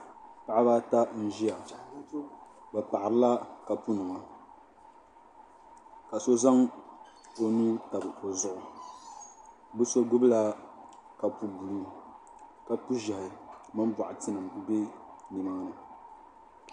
Paɣaba ata n ʒia bɛ paɣarila kapu nima ka so zaŋ o nuu tabi o zuɣu bɛ so gbibila kapu buluu kapu zehi mini boɣati nima be nimaani.